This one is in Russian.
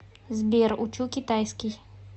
сбер учу китайский